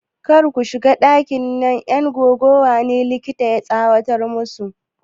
Kar ku shiga ɗakin! na 'yan gaggawa ne, likita ya tsawatar musu.